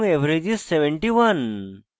average is: 71